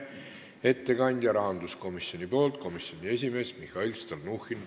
Ettekandja rahanduskomisjoni nimel on rahanduskomisjoni esimees Mihhail Stalnuhhin.